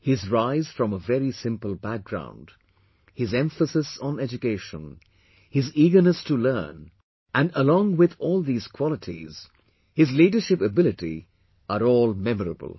His rise from a very simple background, his emphasis on education, his eagerness to learn, and, along with all these qualities, his leadership ability are all memorable